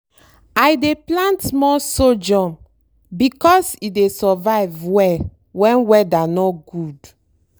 i dey plant more sorghum because e dey survive well when weather no good.